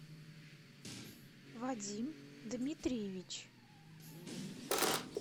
вадим дмитриевич